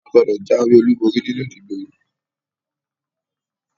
A gbọ́dọ̀ jáwé olúborí nínú ìdìbò yìí!